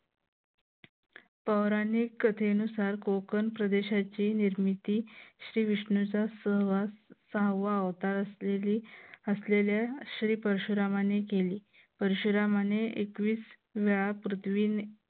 पौराणिक कथेनुसार कोकण प्रदेशाची निर्मिती श्री विष्णूचा सहवास हवा होता असलेली असलेल्या श्री परशुरामांनी केली परशुरामाने एकवीस वेळा पृथ्वीने